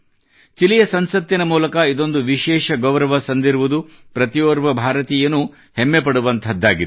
ಚಿಲಿಯ ಸಂಸತ್ತಿನ ಮೂಲಕ ಇದೊಂದು ವಿಶೇಷ ಗೌರವ ಸಂದಿರುವುದು ಪ್ರತಿಯೋರ್ವ ಭಾರತೀಯನೂ ಹೆಮ್ಮೆ ಪಡುವಂಥದ್ದಾಗಿದೆ